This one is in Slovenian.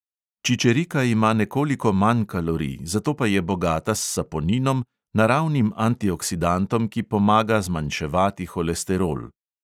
Čičerika ima nekoliko manj kalorij, zato pa je bogata s saponinom, naravnim antioksidantom, ki pomaga zmanjševati holesterol.